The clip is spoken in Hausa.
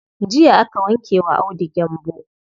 Jiya aka wanke wa Audu gyambo.